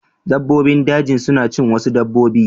Dabbobin daji suna cin wasu dabbobi.